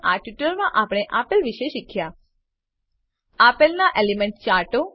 આ ટ્યુટોરીયલમાં આપણે આપેલ વિશે શીખ્યા આપેલનાં એલીમેન્ટલ ચાર્ટો 1